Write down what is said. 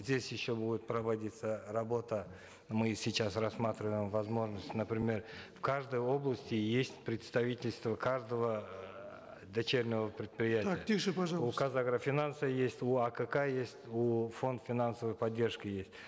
здесь еще будет проводиться работа мы сейчас рассматриваем возможность например в каждой области есть представительство каждого дочернего предприятия так тише пожалуйста у казагрофинанса есть у акк есть у фонд финансовой поддержки есть